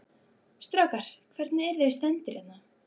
Strákar, hvernig, eruð þið stemmdir hérna?